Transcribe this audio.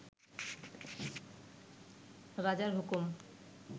রাজার হুকুম